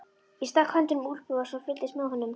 Ég stakk höndunum í úlpuvasana og fylgdist með honum.